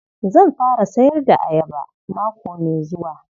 Zan fara sayar da ayaba mako mai zuwa.